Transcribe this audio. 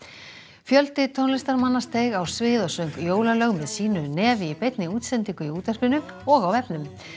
fjöldi tónlistarmanna steig á svið og söng jólalög með sínu nefi í beinni útsendingu í útvarpinu og á vefnum